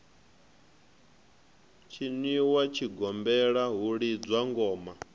tshiniwa tshigombela hu lidzwa ngoma